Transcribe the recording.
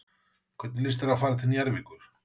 Hvernig líst þér á að fara til Njarðvíkur?